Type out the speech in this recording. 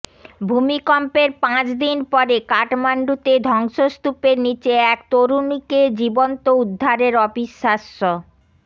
ভূমিকম্পের পাঁচ দিন পরে কাঠমান্ডুতে ধ্বংসস্তূপের নীচে এক তরুণীকে জীবন্ত উদ্ধারের অবিশ্বাস্য